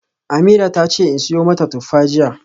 Ameerah tace in siyo mata tuffa jiya.